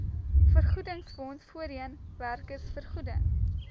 vergoedingsfonds voorheen werkersvergoeding